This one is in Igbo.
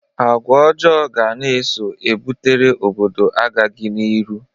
Agwa ọjọọ ga na-eso ebutere obodo agaghị n'iru.